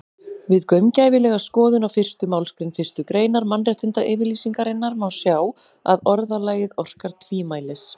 Við gaumgæfilega skoðun á fyrstu málsgrein fyrstu greinar Mannréttindayfirlýsingarinnar má sjá að orðalagið orkar tvímælis.